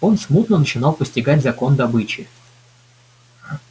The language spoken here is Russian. он смутно начинал постигать закон добычи